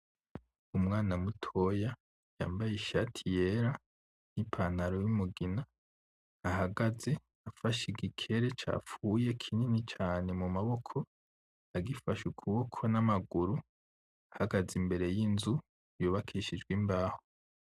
Umwana mutoya yambaye ishati yera, n'ipantaro y'umugina ahagaze afashe igikere capfuye kinini cane mu maboko, agifashe ukuboko n'amaguru ahagaze imbere y'inzu yubakishijwe imbaho.